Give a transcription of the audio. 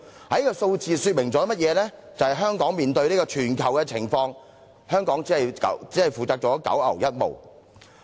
這數字說明香港相對於全球的難民情況，所負責的只是九牛一毛。